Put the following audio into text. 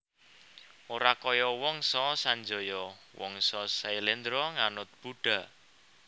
Ora kaya Wangsa Sanjaya Wangsa Syailendra nganut Buddha